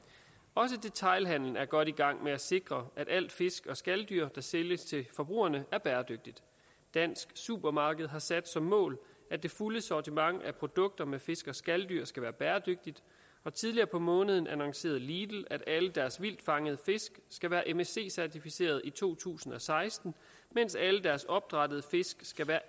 også detailhandelen er godt i gang med at sikre at alle fisk og skaldyr der sælges til forbrugerne er bæredygtige dansk supermarked har sat som mål at det fulde sortiment af produkter med fisk og skaldyr skal være bæredygtigt og tidligere på måneden annoncerede lidl at alle deres vildtfangede fisk skal være msc certificeret i to tusind og seksten mens alle deres opdrættede fisk skal være